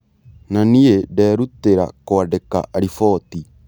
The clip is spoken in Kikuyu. Na niĩ nderutĩra kũandĩka riboti.